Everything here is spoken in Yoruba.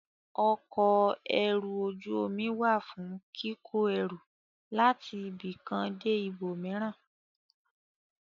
Ọkọ̀ ẹrù ojú omi wà fún kíkó ẹrù láti ibì kan dé ibòmíràn.